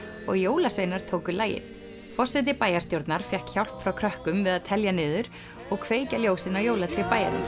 og jólasveinar tóku lagið forseti bæjarstjórnar fékk hjálp frá krökkum við að telja niður og kveikja ljósin á jólatré bæjarins